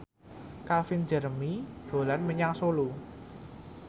Calvin Jeremy dolan menyang Solo